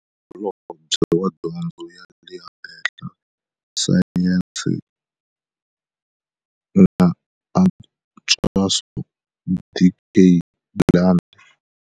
Holobye wa Dyondzo ya le Henhla, Sayense na Antswiso, Dkd Blade.